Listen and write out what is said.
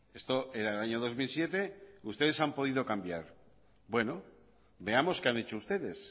esto era el año dos mil siete ustedes han podido cambiar bueno veamos qué han hecho ustedes